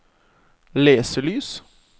leselys